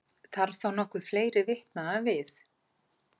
Þarf þá nokkuð fleiri vitnanna við?